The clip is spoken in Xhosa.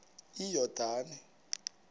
iyordane